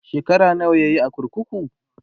shekara nawa yayi a kurkuku?